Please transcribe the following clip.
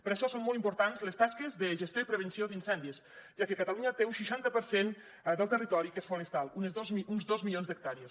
per això són molt importants les tasques de gestió i prevenció d’incendis ja que catalunya té un seixanta per cent del territori que és forestal uns dos milions d’hectàrees